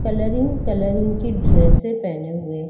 colouring colouring के ड्रेसे पहने हुए--